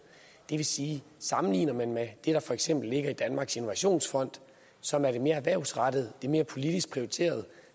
det vil sige at sammenligner man med det der for eksempel ligger i danmarks innovationsfond som er det mere erhvervsrettede det mere politisk prioriterede